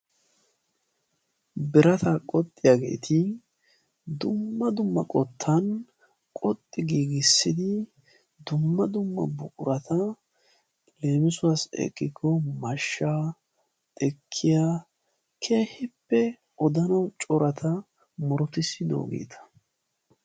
birata qoxxiyaageeti dumma dumma qottan qoxxi giigissidi dumma dumma buqurata leemisuwaasi eqqikko mashsha xekkiya keehippe odanawu corata murutissidoogeeta